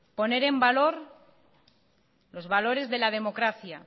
poner en valor los valores de la democracia